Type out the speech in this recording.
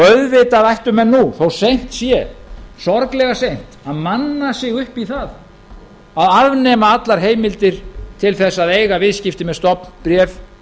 auðvitað ættu menn nú þó seint sé sorglega seint að manna sig upp í það að afnema allar heimildir til þess að eiga viðskipti með stofnbréf